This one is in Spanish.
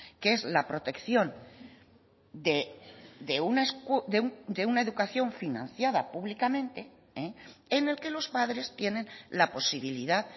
que es la protección de una educación financiada públicamente en el que los padres tienen la posibilidad